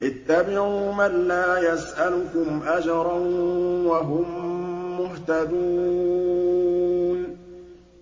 اتَّبِعُوا مَن لَّا يَسْأَلُكُمْ أَجْرًا وَهُم مُّهْتَدُونَ